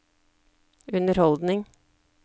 underholdning